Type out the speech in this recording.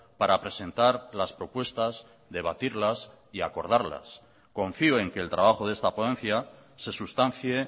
para presentar las propuestas debatirlas y acordarlas confío en que el trabajo de esta ponencia se sustancie